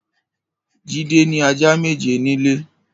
Jide ni àjá méjé nilé